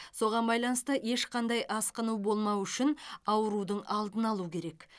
соған байланысты ешқандай асқыну болмау үшін аурудың алдын алу керек